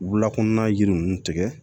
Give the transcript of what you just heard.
Wulakɔnɔna yiri ninnu tigɛ